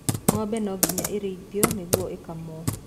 Ng'ombe no nginya ĩrĩithio nĩguo ĩkamo.